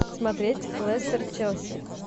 смотреть лестер челси